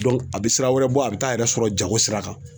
a bɛ sira wɛrɛ bɔ a bɛ taa a yɛrɛ sɔrɔ jago sira kan.